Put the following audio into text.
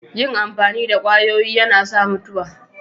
Yin amfani da kwayoyi yana sa mutuwa.